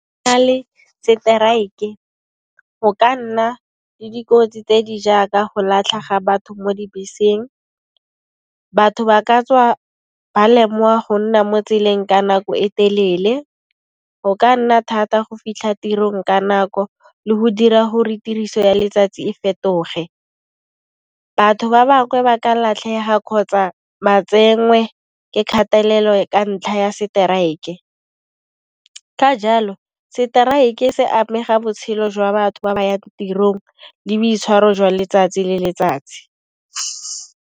Fa go nale le seteraeke e go ka nna le dikotsi tse di jaaka go latlhega ga batho mo dibeseng, batho ba ka tswa ba lemiwa go nna mo tseleng ka nako e telele. Go ka nna thata go fitlha tirong ka nako le go dira gore tiriso ya letsatsi e fetoge. Batho ba bangwe ba ka latlhega kgotsa ba tsenwe ke kgelelo ka ntlha ya seteraeke. Ka jalo seteraeke se amega botshelo jwa batho ba ba yang tirong le boitshwaro jwa letsatsi le letsatsi.